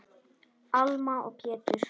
Alma og Pétur.